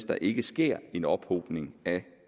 der ikke sker en ophobning af